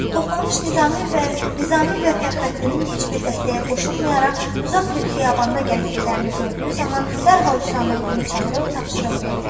Toxtamış Nizami və Fəxrəddinin heç bir dəstəyə qoşulmayaraq uzaq bir xiyabanda gəzdiklərini gördüyü zaman dərhal Hüsamməddini çağırıb tapşırıq verdi.